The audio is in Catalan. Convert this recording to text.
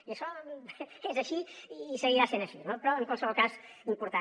i això és així i seguirà sent així no però en qualsevol cas important